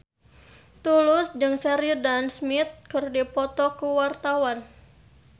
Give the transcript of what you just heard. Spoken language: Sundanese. Tulus jeung Sheridan Smith keur dipoto ku wartawan